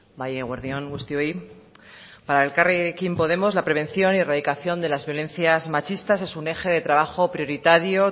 bai eguerdi on guztioi para elkarrekin podemos la prevención y erradicación de las violencias machistas es un eje de trabajo prioritario